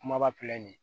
Kumaba filɛ nin ye